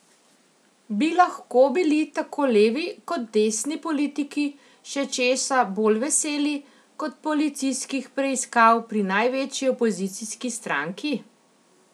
Bi lahko bili tako levi kot desni politiki še česa bolj veseli kot policijskih preiskav pri največji opozicijski stranki?